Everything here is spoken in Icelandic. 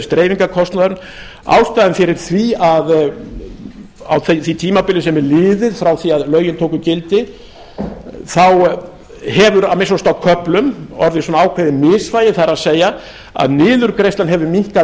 dreifingarkostnaður ástæðan fyrir því að á því sem tímabili sem er liðið frá því að lögin tóku gildi þá hefur að minnsta kosti á köflum orðið svona ákveðið misvægi það er að niðurgreiðslan hefur minnkað